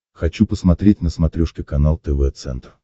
хочу посмотреть на смотрешке канал тв центр